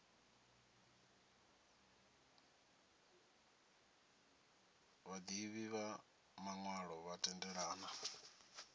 vhaḓivhi vha maṅwalo vha tendelana